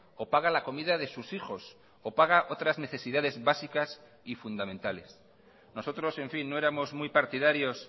o paga la comida de sus hijos o paga otras necesidades básicas y fundamentales nosotros en fin no éramos muy partidarios